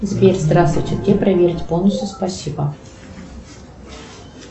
сбер здравствуйте где проверить бонусы спасибо